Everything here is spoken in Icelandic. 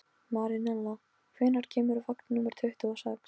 Marinella, hvenær kemur vagn númer tuttugu og sex?